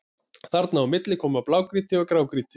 Þarna á milli koma blágrýti og grágrýti.